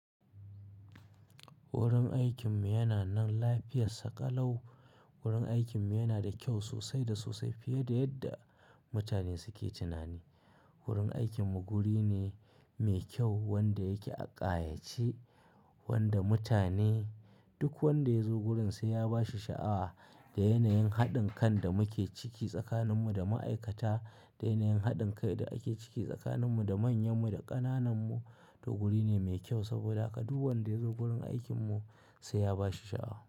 Wurin aikinmu yana nan lafiyar sa ƙalau. Wurin aikinmu yana da kyau sosai da sosai fiye da yadda mutane suke tunani. Wurin aikinmu guri ne mai kyau wanda yake a ƙayace wanda mutane duk wanda ya zo gurin sai ya ba shi sha'awa da yanayin haɗin kan da muke ciki tsakaninmu da ma'aikata, da yanayin haɗin kai da ake ciki tsakaninmu da manyanmu da ƙanananmu. To guri ne mai kyau saboda haka duk wanda ya zo gurin aikinmu sai ya ba shi sha'awa.